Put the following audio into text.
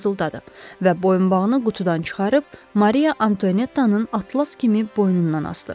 Və boyunbağını qutudan çıxarıb Mariya Antoniyettanın atlas kimi boynundan asdı.